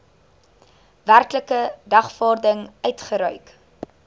werklike dagvaarding uitgereik